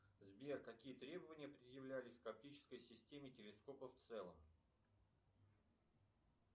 сбер какие требования предъявлялись к оптической системе телескопа в целом